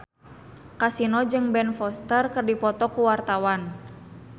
Kasino jeung Ben Foster keur dipoto ku wartawan